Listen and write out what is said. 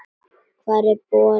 Hvar er borinn?